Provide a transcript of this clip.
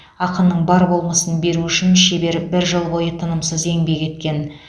ақынның бар болмысын беру үшін шебер бір жыл бойы тынымсыз еңбек еткен